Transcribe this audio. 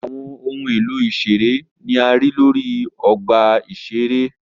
Awọn ohun elo iṣere ni a rii lori ọgba iṣere.